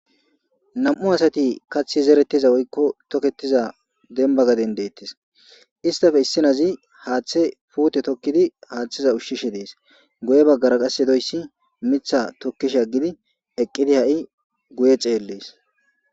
nam7u asati kaththi zeretiza woykko toketiza demba gaden deettes istafe issinazi haaththe puute tokkidi haaththiza ushshishe dees guye baggara qas yedoyssi mitha tokkishi aggidi eqqidi ha7i guye ceellees